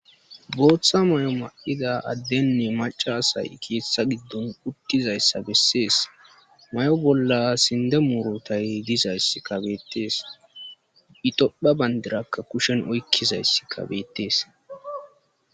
Booththa mayo maida addenne macasay keeththa giddon uttizayssa bessees may7o bolla sinde murotay dizaysska bettees itophe bandirakka kushen oykkizayss kabeettees.